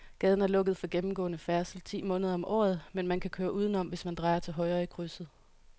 Gaden er lukket for gennemgående færdsel ti måneder om året, men man kan køre udenom, hvis man drejer til højre i krydset.